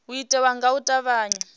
u itiwa nga u tavhanya